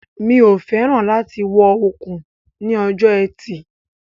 The bracelet looks beautiful on her wrist